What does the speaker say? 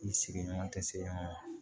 I sigiɲɔgɔn tɛ se